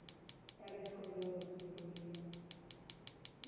Ela escolheu nos figurino.